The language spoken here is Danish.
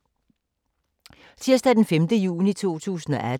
Tirsdag d. 5. juni 2018